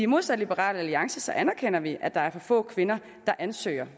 modsat liberal alliance anerkender vi at der er for få kvinder der ansøger